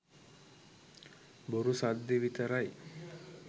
බොරු සද්දෙ විතරයි.